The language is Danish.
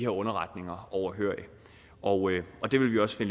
underretninger overhørig og vi vil også i